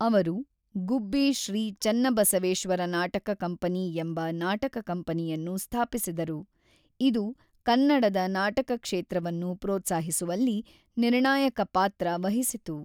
ಅವರು ಗುಬ್ಬಿ ಶ್ರೀ ಚನ್ನಬಸವೇಶ್ವರ ನಾಟಕ ಕಂಪನಿ ಎಂಬ ನಾಟಕ ಕಂಪನಿಯನ್ನು ಸ್ಥಾಪಿಸಿದರು, ಇದು ಕನ್ನಡದ ನಾಟಕ ಕ್ಷೇತ್ರವನ್ನು ಪ್ರೋತ್ಸಾಹಿಸುವಲ್ಲಿ ನಿರ್ಣಾಯಕ ಪಾತ್ರ ವಹಿಸಿತು.